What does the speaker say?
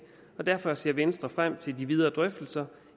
og derfor ser venstre frem til de videre drøftelser